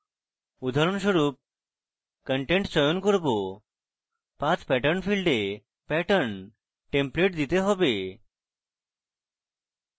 উদাহরণস্বরূপ content চয়ন করব path pattern ফীল্ডে প্যাটার্ন টেমপ্লেট দিতে হবে